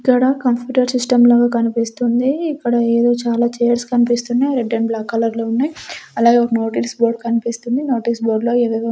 ఇక్కడ computer system లాగ కనిపిస్తుంది ఇక్కడ ఎదో చాలా చైర్స్ కన్పిస్తున్నాయ్ రెడ్ అండ్ బ్లాక్ కలర్ లో ఉన్నాయ్ అలాగే ఒక నోటీస్ బోర్డ్ కన్పిస్తుంది నోటీస్ బోర్డు లో ఏవేవో --